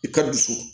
I ka dusu